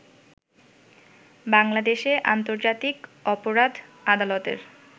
বাংলাদেশে আন্তর্জাতিক অপরাধ আদালতের